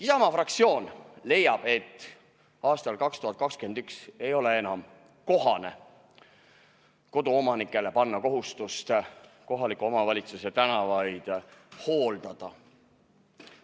Isamaa fraktsioon leiab, et aastal 2021 ei ole enam kohane panna koduomanikele kohustust kohaliku omavalitsuse tänavaid hooldada.